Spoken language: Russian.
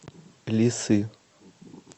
лисы